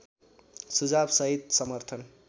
सुझाव सहित समर्थन